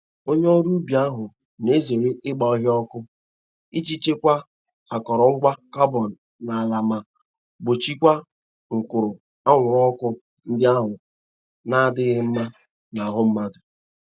Onye ọrụ ubi ahụ na-ezere ịgba ọhịa ọkụ iji chekwa akọrọ ngwa carbon n'ala ma gbochiekwa nkuru anwụrụ ọkụ ndị ahụ n'adịghị mma n'ahụ mmadụ.